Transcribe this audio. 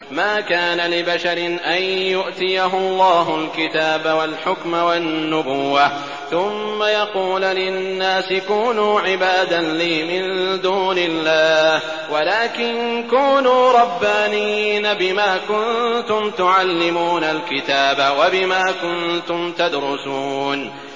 مَا كَانَ لِبَشَرٍ أَن يُؤْتِيَهُ اللَّهُ الْكِتَابَ وَالْحُكْمَ وَالنُّبُوَّةَ ثُمَّ يَقُولَ لِلنَّاسِ كُونُوا عِبَادًا لِّي مِن دُونِ اللَّهِ وَلَٰكِن كُونُوا رَبَّانِيِّينَ بِمَا كُنتُمْ تُعَلِّمُونَ الْكِتَابَ وَبِمَا كُنتُمْ تَدْرُسُونَ